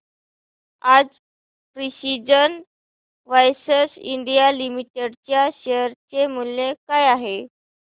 आज precision wires India limited च्या share चे मूल्य काय आहे